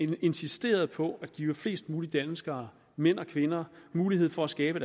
vi insisteret på at give flest mulige danskere mænd og kvinder mulighed for at skabe